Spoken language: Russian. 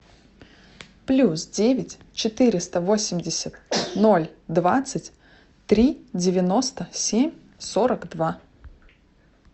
плюс девять четыреста восемьдесят ноль двадцать три девяносто семь сорок два